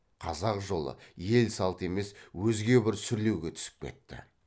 қазақ жолы ел салты емес өзге бір сүрлеуге түсіп кетті